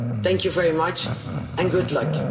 Thank you very much and good luck.